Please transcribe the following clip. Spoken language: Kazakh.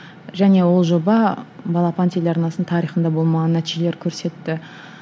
және ол жоба балапан телеарнасының тарихында болмаған нәтижелер көрсетті